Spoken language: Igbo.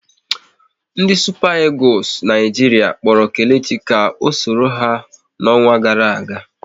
Ndị Supa Egules Naijiria kpọrọ Kelechi ka o sonyere ha n'ọnwa gara aga